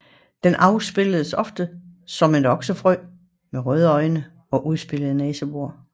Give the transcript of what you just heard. Den afbilledes ofte som en oksefrø med røde øjne og udspilede næsebor